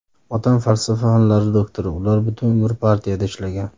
Otam falsafa fanlari doktori, ular butun umr partiyada ishlagan.